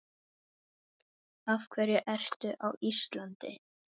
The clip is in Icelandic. Af hverju ertu á Íslandi?